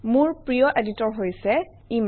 মোৰ প্ৰিয় এডিটৰ হৈছে Emacs